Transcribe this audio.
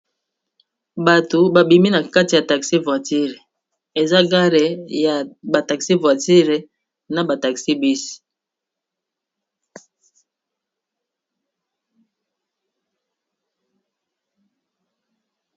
Batu babimi , na kati ya taxi voiture eza gare ya ba taxi voiture na ba taxi bus.